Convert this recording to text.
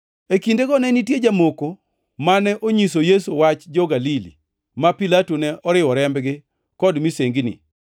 E kindeno ne nitie jomoko mane onyiso Yesu wach jo-Galili ma Pilato ne oriwo rembgi kod misengini.